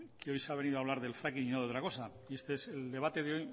que hoy se ha venido a hablar del fracking y no de otra cosa y es que el debate de